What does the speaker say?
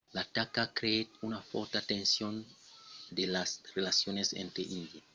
l'ataca creèt una fòrta tension sus las relacions entre índia e paquistan